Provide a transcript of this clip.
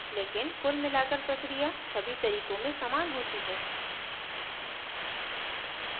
लेकिन कुल मिलाकर प्रक्रिया सभी तरीकों में समान होती है